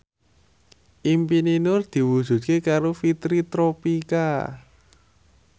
impine Nur diwujudke karo Fitri Tropika